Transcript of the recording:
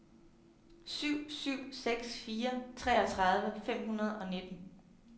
syv syv seks fire treogtredive fem hundrede og nitten